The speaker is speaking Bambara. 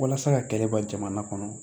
Walasa ka kɛlɛ bɔ jamana kɔnɔ